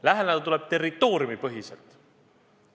Läheneda tuleb territooriumipõhiselt.